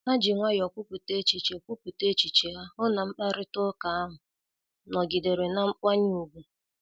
Ha ji nwayọọ kwupụta echiche kwupụta echiche ha, hụ na mkparịta ụka ahụ nọgidere na mkwanye ùgwù